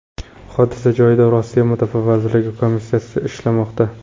Hodisa joyida Rossiya mudofaa vazirligi komissiyasi ishlamoqda.